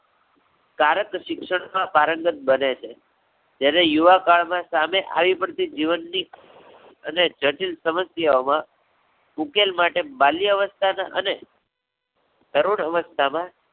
ત્યારે જ શિક્ષણમાં પારંગત બને છે. જ્યારે યુવકાળ માં સામે આવી પડતી જીવનની અને જટિલ સમસ્યાઓ માં ઉકેલ માટે બાલ્યાઅવસ્થા ને અને તરુણ અવસ્થા માં